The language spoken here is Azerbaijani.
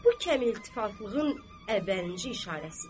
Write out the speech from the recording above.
Bu kəmtəliflığın əvvəlinci işarəsidir.